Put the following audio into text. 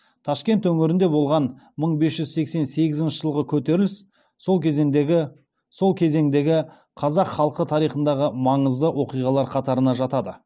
ташкент өңірінде болған мың бес жүз сексен сегізінші жылғы көтеріліс сол кезіндегі қазақ халқы тарихындағы маңызды оқиғалар қатарына жатады